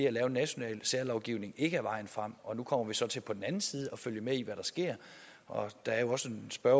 at lave en national særlovgivning ikke er vejen frem og nu kommer vi så til på den anden side at følge med i hvad der sker og der er jo også en spørger